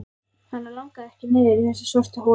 Hana langaði ekki niður í þessa svörtu holu.